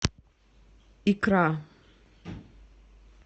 икра